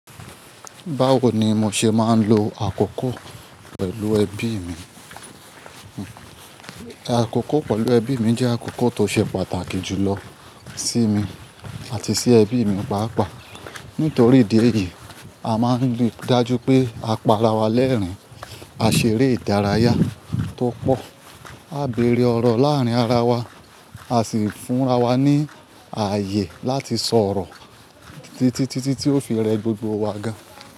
Báwo ni mo ṣe máa ń lo àkókò pẹ̀lú ẹbí mi? Àkókò pẹ̀lú ẹbí mi jẹ́ àkókò tó ṣe pàtàkì jùlọ sí mi àti sí ẹbí mi pàápàá. Nítorí ìdí èyí, a máa ń rí i dájú pé a para wa lẹ́rìn-ín, a ṣeré ìdárayá tó pọ̀, á beẹ̀rẹ̀ ọ̀rọ̀ láàárín ara wa, á sì fúnra wa ní ààyè láti sọ̀rọ̀ títítítí tí ó fi rẹ gbogbo wa gan-an.